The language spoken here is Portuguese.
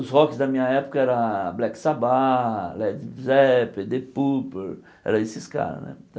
Os Rocks da minha época era Black Sabbath, Led Zeppelin, Deep Purple, eram esses caras.